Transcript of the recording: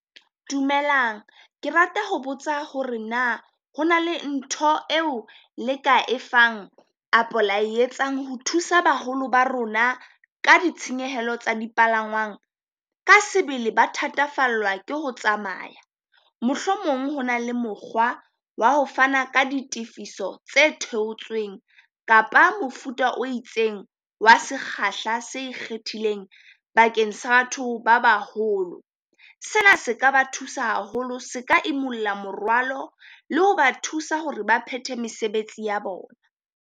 Dumelang Ke rata ho botsa hore na ho na le ntho eo le ka efang apo la etsang ho thusa baholo ba rona ka ditshenyehelo tsa di palangwang? ka sebele ba thatafallwa ke ho tsamaya, mohlomong ho na le mokgwa wa ho fana ka ditefiso tse theotsweng kapa mofuta o itseng wa sekgahla se ikgethileng bakeng sa batho ba baholo. Sena se ka ba thusa haholo, se ka imulla morwalo le ho ba thusa hore ba phete mesebetsi ya bona.